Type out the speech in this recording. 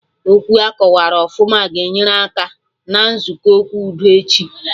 Okwu akọwarụ ọfụma ga-enyere aka na nzukọ okwu udo echi